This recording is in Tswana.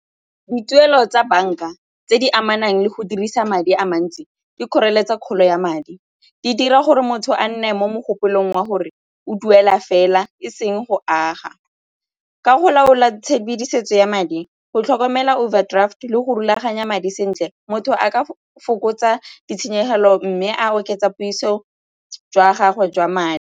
Dituelo tsa banka tse di amanang le go dirisa madi a mantsi di kgoreletsa kgolo ya madi, di dira gore motho a nne mo mogopolo wa gore o duela fela e seng go aga. Ka go laola tshedimosetso ya madi, go tlhokomela overdraft le go rulaganya madi sentle motho a ka fokotsa ditshenyegelo mme a oketsa puiso jwa gago jwa madi.